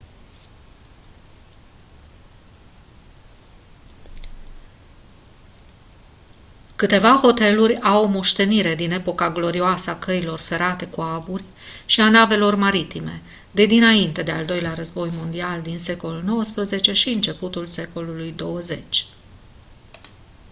câteva hoteluri au o moștenire din epoca glorioasă a căilor ferate cu aburi și a navelor maritime de dinainte de al doilea război mondial din secolul 19 și începutul secolului 20